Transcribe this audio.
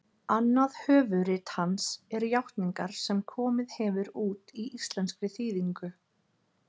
annað höfuðrit hans er játningar sem komið hefur út í íslenskri þýðingu